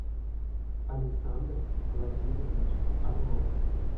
александр владимирович орлов